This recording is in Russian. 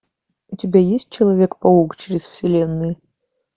у тебя есть человек паук через вселенные